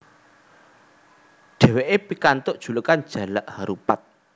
Dheweke pikantuk julukan Jalak Harupat